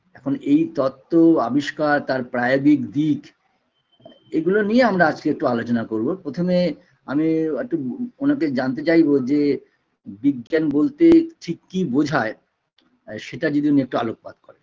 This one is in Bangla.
এখন এই তত্ত্ব আবিষ্কার তার দিক এগুলো নিয়ে আমরা আজকে একটু আলোচনা করবো প্রথমে আমি একটু ওনাকে জানতে চাইবো যে বিজ্ঞান বলতে ঠিক কী বোঝায় সেটা যদি উনি একটু আলোকপাত করেন